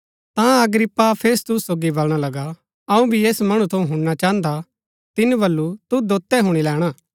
ता Agrippa Festus सोगी बलणा लगा अऊँ भी ऐस मणु थऊँ हुणना चाहन्दा तिनी बल्लू तुद दोतै हुणी लैणा